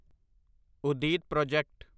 ਉਦੀਦ project